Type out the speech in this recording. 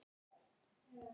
Það má vera.